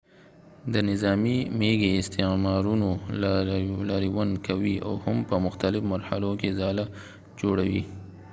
د نظامی میږي استعمارونو لاریون کوي او هم په مختلف مرحلو کښی ځاله جوړوي